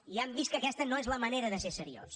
i han vist que aquesta no és la manera de ser seriós